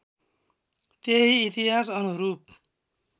त्यही इतिहास् अनुरूप